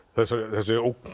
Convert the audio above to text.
þessi ógn